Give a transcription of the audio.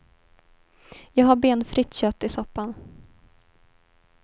Jag har benfritt kött i soppan.